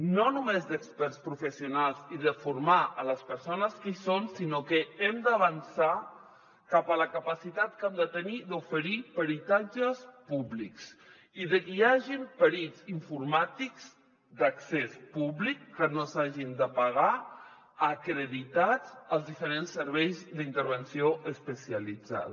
no només d’experts professionals i de formar les persones que hi són sinó que hem d’avançar cap a la capacitat que hem de tenir d’oferir peritatges públics i de que hi hagin perits informàtics d’accés públic que no s’hagin de pagar acreditats als diferents serveis d’intervenció especialitzada